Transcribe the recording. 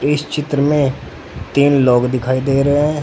इस चित्र में तीन लोग दिखाई दे रहे हैं।